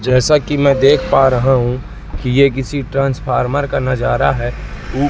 जैसा कि मैं देख पा रहा हूं कि ये किसी ट्रांसफार्मर का नजारा है उप--